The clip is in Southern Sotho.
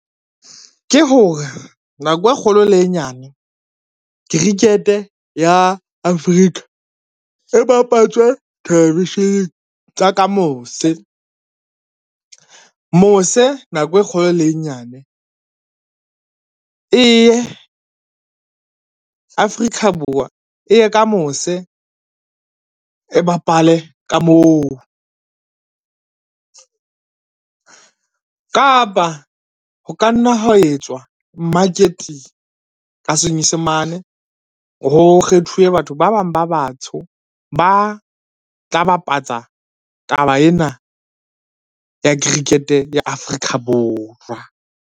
Ke hore nako e kgolo le e nyane, cricket ya Africa e bapatswe television-eng tsa ka mose. Mose nako e kgolo le e nyane Afrika Borwa e ye ka mose e bapale ka moo, kapa ho ka nna ha etswa marketing ka Senyesemane, ho kgethuwe batho ba bang ba batsho ba tla bapatsa taba ena ya cricket ya Afrika Borwa.